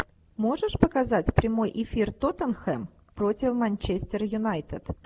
можешь показать прямой эфир тоттенхэм против манчестер юнайтед